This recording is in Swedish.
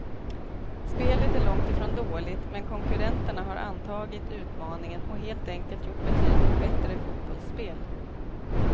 Spelet är långt ifrån dåligt, men konkurrenterna har antagit utmaningen och helt enkelt gjort betydligt bättre fotbollsspel.